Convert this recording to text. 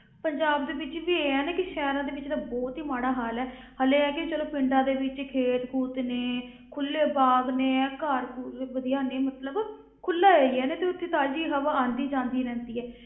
ਪੰਜਾਬ ਦੇ ਵਿੱਚ ਵੀ ਇਹ ਹੈ ਨਾ ਕਿ ਸ਼ਹਿਰਾਂ ਦੇ ਵਿੱਚ ਬਹੁਤ ਹੀ ਮਾੜਾ ਹਾਲ ਹੈ ਹਾਲੇ ਇਹ ਹੈ ਕਿ ਚਲੋ ਪਿੰਡਾਂ ਦੇ ਵਿੱਚ ਖੇਤ ਖੂਤ ਨੇ, ਖੁੱਲੇ ਬਾਗ਼ ਨੇ, ਇਹ ਘਰ ਘੁਰ ਵੀ ਵਧੀਆ ਨੇ ਮਤਲਬ ਖੁੱਲਾ area ਨਾ, ਤੇ ਉੱਥੇ ਤਾਜ਼ੀ ਹਵਾ ਆਉਂਦੀ ਜਾਂਦੀ ਰਹਿੰਦੀ ਹੈ,